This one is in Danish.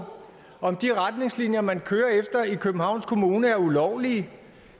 om de retningslinjer man kører efter i københavns kommune er ulovlige